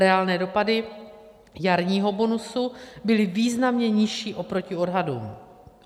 Reálné dopady jarního bonusu byly významně nižší oproti odhadům.